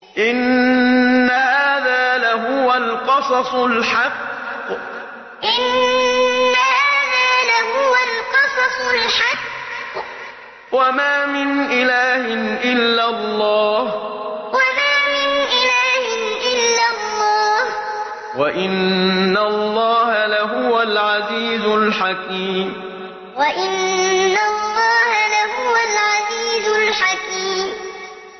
إِنَّ هَٰذَا لَهُوَ الْقَصَصُ الْحَقُّ ۚ وَمَا مِنْ إِلَٰهٍ إِلَّا اللَّهُ ۚ وَإِنَّ اللَّهَ لَهُوَ الْعَزِيزُ الْحَكِيمُ إِنَّ هَٰذَا لَهُوَ الْقَصَصُ الْحَقُّ ۚ وَمَا مِنْ إِلَٰهٍ إِلَّا اللَّهُ ۚ وَإِنَّ اللَّهَ لَهُوَ الْعَزِيزُ الْحَكِيمُ